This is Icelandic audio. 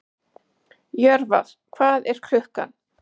Jörvar, hvað er klukkan?